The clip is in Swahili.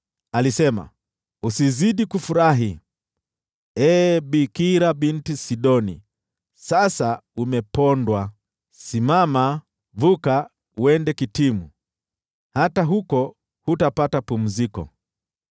Alisema, “Usizidi kufurahi, ee Bikira Binti Sidoni, sasa umepondwa! “Simama, vuka uende Kitimu; hata huko hutapata pumziko.”